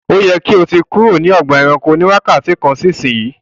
kò tí kúrò ní Ọgbà ẹranko ní wakati kán sí ìsìn!